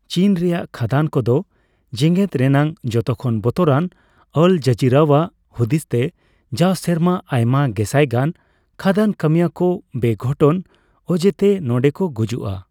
ᱪᱤᱱ ᱨᱮᱭᱟᱜ ᱠᱷᱟᱫᱟᱱ ᱠᱚᱫᱚ ᱡᱮᱜᱮᱫ ᱨᱮᱭᱟᱜ ᱡᱚᱛᱚᱠᱷᱚᱱ ᱵᱚᱛᱚᱨᱟᱱ, ᱟᱞ ᱡᱟᱹᱡᱤᱨᱟᱣᱟᱜ ᱦᱩᱫᱤᱥᱛᱮ, ᱡᱟᱣ ᱥᱮᱨᱢᱟ ᱟᱭᱢᱟ ᱜᱮᱥᱟᱭ ᱜᱟᱱ ᱠᱷᱟᱫᱟᱱ ᱠᱟᱹᱢᱤᱭᱟᱹ ᱠᱚ ᱵᱮᱼᱜᱷᱚᱴᱚᱱ ᱚᱡᱮᱛᱮ ᱱᱚᱸᱰᱮᱠᱚ ᱜᱩᱡᱩᱜᱼᱟ ᱾